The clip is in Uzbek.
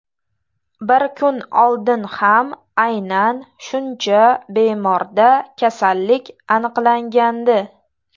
Bir kun oldin ham aynan shuncha bemorda kasallik aniqlangandi.